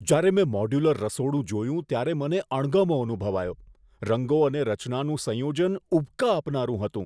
જ્યારે મેં મોડ્યુલર રસોડું જોયું ત્યારે મને અણગમો અનુભવાયો. રંગો અને રચનાનું સંયોજન ઉબકા આપનારું હતું.